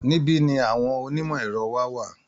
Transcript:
Níbí ni àwọn onímọ̀ ẹ̀rọ wa wà